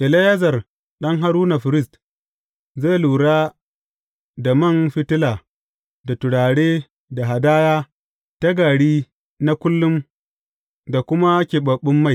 Eleyazar ɗan Haruna firist zai lura da man fitila da turare da hadaya ta gari na kullum da kuma keɓaɓɓen mai.